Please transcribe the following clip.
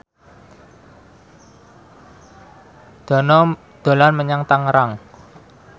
Dono dolan menyang Tangerang